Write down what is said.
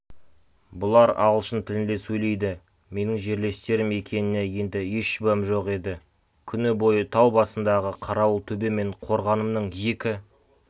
бұлар ағылшын тілінде сөйледі менің жерлестерім екеніне енді еш шүбәм жоқ еді күні бойы тау басындағы қарауылтөбе мен қорғанымның екі